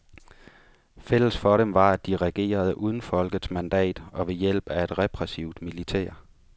Fælles for dem var, at de regerede uden folkets mandat og ved hjælp af et repressivt militær.